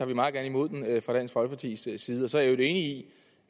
vi meget gerne imod den fra dansk folkepartis side så er jeg i